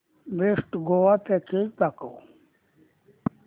best Goa package दाखव